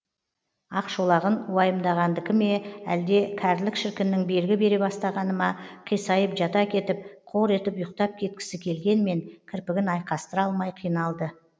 ақшолағын уайымдағандікі ме әлде кәрілік шіркіннің белгі бере бастағаны ма қисайып жата кетіп қор етіп ұйықтап кеткісі келгенмен кірпігін айқастыра алмай қиналды